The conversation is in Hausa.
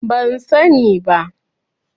Ban sani bi